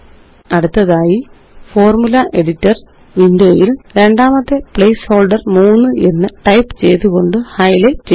അടുത്തതായി formula editor windowയില് രണ്ടാമത്തെ പ്ലേസ്ഹോള്ഡര് 3 എന്ന് ടൈപ്പ് ചെയ്തുകൊണ്ട് ഹൈലൈറ്റ് ചെയ്യുക